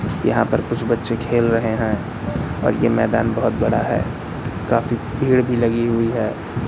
यहां पर कुछ बच्चे खेल रहे हैं और ये मैदान बहुत बड़ा है काफी भीड़ भी लगी हुई है।